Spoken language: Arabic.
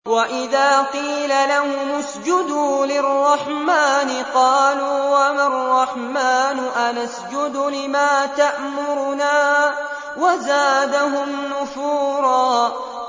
وَإِذَا قِيلَ لَهُمُ اسْجُدُوا لِلرَّحْمَٰنِ قَالُوا وَمَا الرَّحْمَٰنُ أَنَسْجُدُ لِمَا تَأْمُرُنَا وَزَادَهُمْ نُفُورًا ۩